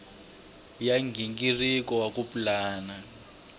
ya nghingiriko wa ku pulana